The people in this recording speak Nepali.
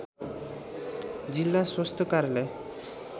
जिल्ला स्वास्थ्य कार्यालय